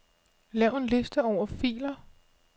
Lav en liste over filer.